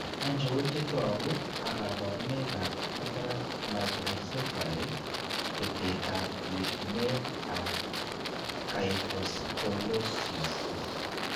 Achon chetogu ak kaborunoik ab Cataract microcephaly betet ab yetunet ab kyphoscoliosis?